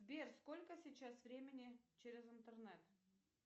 сбер сколько сейчас времени через интернет